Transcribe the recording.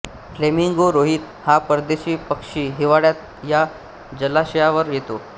flamingo रोहित हा परदेशी पक्षी हिवाळ्यात या जलाशयावर येतो